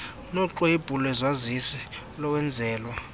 noxwebhu lwesazisi lowenzelwa